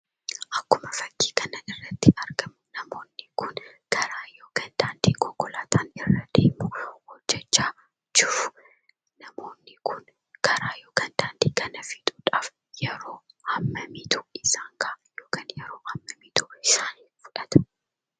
Akkuma fakkii kana irratti argamu namoonni kun karaa yookaan daandii konkolaataan irra deemu hojjachaa jiru. Namoonni kun karaa yookaan daandii kana fixuudhaaf yeroo hammamiitu isaan gaha yookan yeroo hammamii isaan fudhata?